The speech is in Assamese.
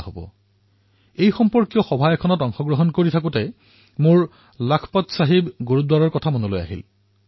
অলপতে যেতিয়া মই ইয়াৰ সৈতে জড়িত বৈঠকত ব্যস্ত আছিলো তেতিয়া সেই সময়তেই মোৰ চাহিব গুৰুদ্বাৰৰ কথা মনলৈ আহিল